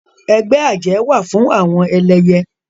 Ẹgbẹ́ àjẹ́ wà fún àwọn ẹlẹyẹ